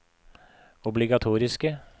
obligatoriske